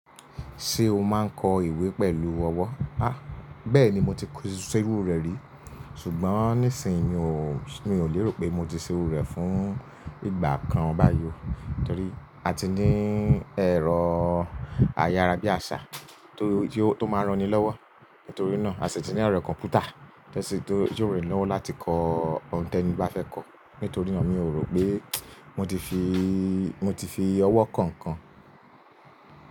Ṣé o máa ń kọ ìwé pẹ̀lú ọwọ́? Bẹ́ẹ̀ ni mo ti ṣe irú rẹ̀ rí. Ṣùgbọ́n, nísin-yí mi ò lérò pé mo ti ṣe irú rẹ̀ fún ìgbà kan báyìí. Tóti àti ní ẹ̀rọ àyárabíàṣá tó máa ń ran-ni lọ́wọ́ nítorí náà, a sì ti ní ẹ̀rọ kọ̀mpútà, tí ó ran-ni lọ́wọ́ láti kọ òun tí ẹni bá fẹ́ kọ. Nítorí náà, mi ò rò pé mo ti fi, mo ti fi ọwọ́ ko nǹkan.